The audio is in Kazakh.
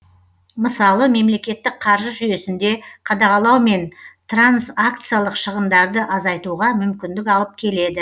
мысалы мемлекеттік қаржы жүйесінде қадағалау мен транзакциялық шығындарды азайтуға мүмкіндік алып келеді